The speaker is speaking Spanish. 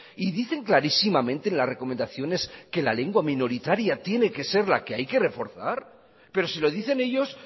y dicen clarísimamente las recomendaciones que la lengua minoritaria tiene que ser la que hay que reforzar pero si lo dicen ellos